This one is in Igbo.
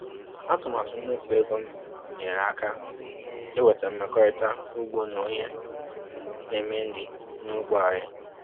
Atụmatụ mmefu ego m nyere aka inweta mmekọrịta ugbo na onye na-eme nri n’ógbè anyị